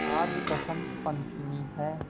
आज बसंत पंचमी हैं